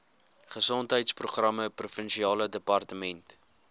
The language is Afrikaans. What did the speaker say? gesondheidsprogramme provinsiale departement